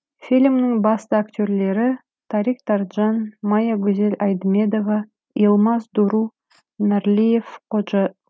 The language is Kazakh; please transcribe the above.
фильмнің басты актерлері тарик тарджан мая гозель айдмедова йылмаз дуру нарлиев ходжа